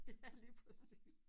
Ja lige præcis